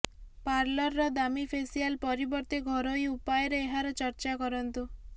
ପାର୍ଲରର ଦାମୀ ଫେସିଆଲ୍ ପରିବର୍ତ୍ତେ ଘରୋଇ ଉପାୟରେ ଏହାର ଚର୍ଚ୍ଚା କରନ୍ତୁ